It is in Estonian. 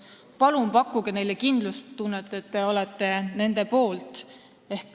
Palun pakkuge neile kindlustunnet, et te olete nende poolt.